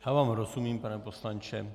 Já vám rozumím, pane poslanče.